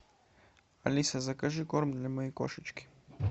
алиса закажи корм для моей кошечки